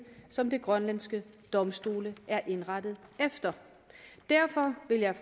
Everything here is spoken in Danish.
som de grønlandske domstole er indrettet efter derfor vil jeg